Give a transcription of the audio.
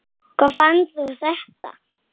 Hvar fannstu þetta?